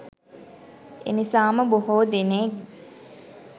එනිසාම බොහෝ දෙනෙක්